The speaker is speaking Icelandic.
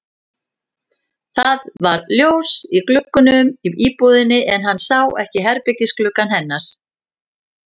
Það var ljós í gluggunum í íbúðinni en hann sá ekki herbergisgluggann hennar.